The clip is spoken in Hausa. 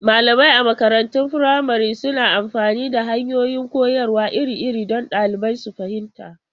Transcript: Malamai a makarantun firamare suna amfani da hanyoyin koyarwa iri-iri don ɗalibai su fahimta.